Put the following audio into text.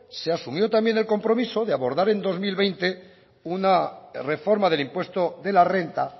se asumió también el compromiso de abordar en dos mil veinte una reforma del impuesto de la renta